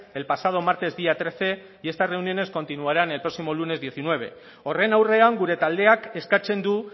el pasado martes día trece y estas reuniones continuaran el próximo lunes diecinueve horren aurrean gure taldeak eskatzen du